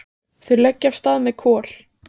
Þau leggja af stað með Kol.